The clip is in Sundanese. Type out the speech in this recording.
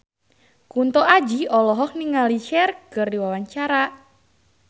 Kunto Aji olohok ningali Cher keur diwawancara